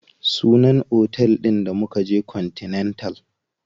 Sunan otel ɗin da mukaje continental.